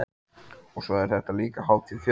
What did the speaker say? Og svo er þetta líka hátíð fjöl